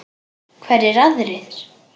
Hverjir aðrir?